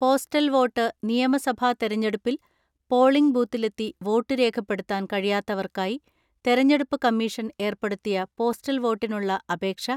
postal vote നിയമസഭാ തെരഞ്ഞെടുപ്പിൽ polling ബൂത്തിലെത്തി വോട്ട് രേഖപ്പെടുത്താൻ കഴിയാത്തവർക്കായി തെരഞ്ഞെടുപ്പ് കമ്മീഷൻ ഏർപ്പെടുത്തിയ പോസ്റ്റൽ വോട്ടിനുള്ള അപേക്ഷ